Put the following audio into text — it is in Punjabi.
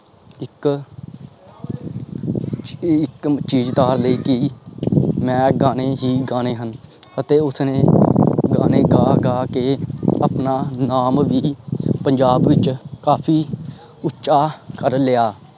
ਚੀਜ ਧਾਰ ਲਈ ਕਿ ਮੈਂ ਗਾਣੇ ਹੀ ਗਾਣੇ ਹਨ. ਅਤੇ ਉਸਨੇ ਗਾਣੇ ਗਾ ਗਾ ਕੇ ਆਪਣਾ ਨਾਮ ਵੀ ਪੰਜਾਬ ਵਿਚ ਕਾਫੀ ਉਚਾ ਕਰ ਲਿਆ।